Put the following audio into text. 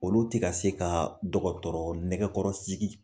Olu tI se ka dɔkɔtɔrɔ nɛkɛkɔrɔ sigi